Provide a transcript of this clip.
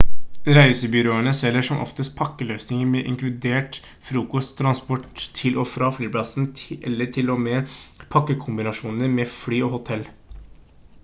reisebyråene selger som oftest pakkeløsninger med inkludert frokost transport til og fra flyplassen eller til og med pakkekombinasjoner med fly og hotell